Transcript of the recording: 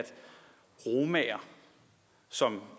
romaer som